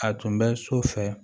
A tun bɛ so fɛ